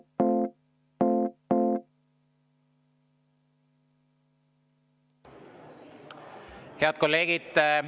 Head kolleegid!